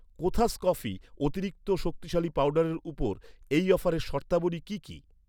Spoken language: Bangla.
কোথাস কফি অতিরিক্ত শক্তিশালী পাউডারের ওপর, এই অফারের শর্তাবলী কি কি?